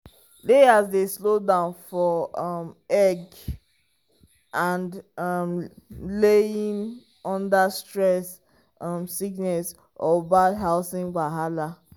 layers dey slow down for um egg um laying under stress um sickness or bad housing wahala.